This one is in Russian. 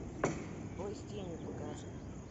бой с тенью покажи